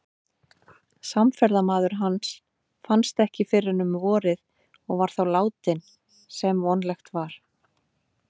Samferðamaður hans fannst ekki fyrr en um vorið og var þá látinn, sem vonlegt var.